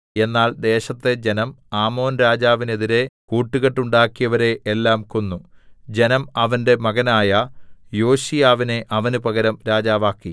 എന്നാൽ ദേശത്തെ ജനം ആമോൻരാജാവിനെതിരെ കൂട്ടുകെട്ടുണ്ടാക്കിയവരെ എല്ലാം കൊന്നു ജനം അവന്റെ മകനായ യോശീയാവിനെ അവന് പകരം രാജാവാക്കി